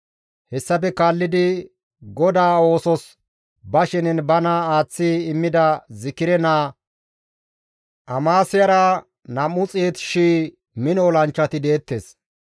Hessafe kaallidi GODAA oosos ba shenen bana aaththi immida Zikire naa Amaasiyara 200,000 mino olanchchati deettes.